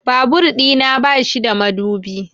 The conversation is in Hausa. Babur ɗina ba shi da madubi